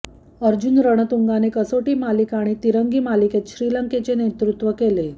अर्जुन रणतुंगाने कसोटी मालिका आणि तिरंगी मालिकेत श्रीलंकेचे नेतृत्व केले